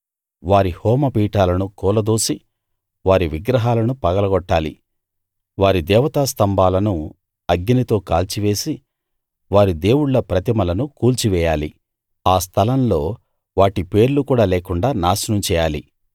వారి హోమపీఠాలను కూలదోసి వారి విగ్రహాలను పగలగొట్టాలి వారి దేవతా స్తంభాలను అగ్నితో కాల్చివేసి వారి దేవుళ్ళ ప్రతిమలను కూల్చి వెయ్యాలి ఆ స్థలం లో వాటి పేర్లు కూడా లేకుండా నాశనం చేయాలి